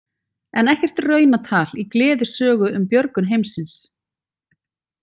En ekkert raunatal í gleðisögu um björgun heimsins.